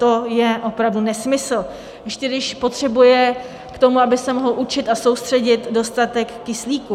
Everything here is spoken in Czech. To je opravdu nesmysl, ještě když potřebuje k tomu, aby se mohlo učit a soustředit, dostatek kyslíku.